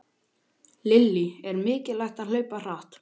Lillý: Er mikilvægt að hlaupa hratt?